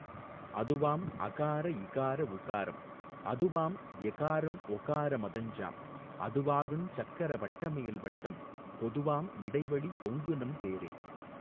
அதுவாம் அகார இகார உகாரம் அதுவாம் எகாரம் ஒகார மதஞ்சாம் அதுவாகுஞ் சக்கர வட்டமேல் வட்டம் பொதுவாம் இடைவெளி பொங்குநம் பேரே.